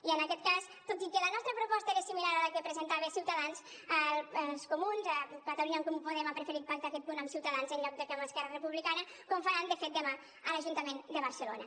i en aquest cas tot i que la nostra proposta era similar a la que presentava ciutadans els comuns catalunya en comú podem ha preferit pactar aquest punt amb ciutadans en lloc d’esquerra republicana com faran de fet demà a l’ajuntament de barcelona